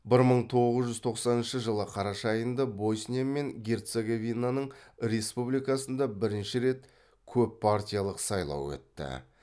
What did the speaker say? бір мың тоғыз жүз тоқсаныншы жылы қараша айында босния мен герцеговинаның республикасында бірінші рет көппартиялық сайлау өтті